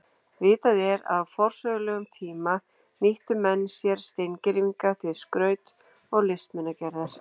Vitað er að á forsögulegum tíma nýttu menn sér steingervinga til skraut- og listmunagerðar.